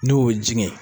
N'o ye jɛngɛ